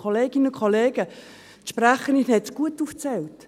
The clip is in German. Kolleginnen und Kollegen, die Sprecherin hat es gut aufgezählt: